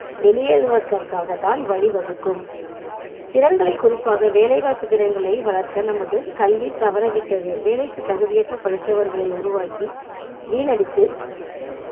வெளியேறுவதற்காக தான் வழி வகுக்கும் திறன்களை குறிப்பாக வேலை வாய்ப்பு திறன்களை வளர்க்க நமது கல்வி தவறவிட்டது வேலைக்கு தகுதியற்ற படித்தவர்களை உருவாக்கி வீணடித்து